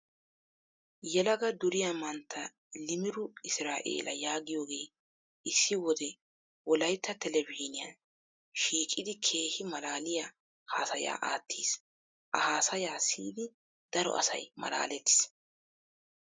Yelaga duriyaa mantta Imiru Israeela yaagiyooge issi wode Wolayitta telbejiiniyan shiiqidi keehi malaaliyaa hasaya aattis. A haasaya siyidi daro asayi malaalettis.